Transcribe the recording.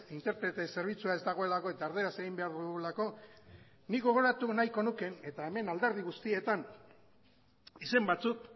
interprete zerbitzua ez dagoelako eta erdaraz egin behar dugulako nik gogoratu nahiko nuke eta hemen alderdi guztietan izen batzuk